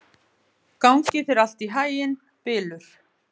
Gangi þér allt í haginn, Bylur.